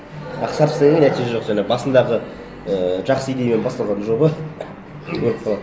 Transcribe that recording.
а қысқартып істегеннен нәтиже жоқ жаңағы басындағы ііі жақсы идеямен басталған жоба өліп қалады